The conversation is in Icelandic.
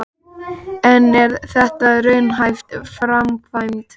En er þetta raunhæf framkvæmd?